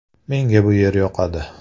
Menga bu yer yoqadi.